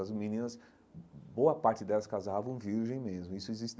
As meninas, boa parte delas casavam virgem mesmo isso existe.